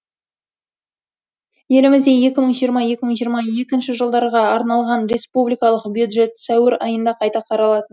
елімізде екі мың жиырма екі мың жиырма екінші жылдарға арналған республикалық бюджет сәуір айында қайта қаралатын болды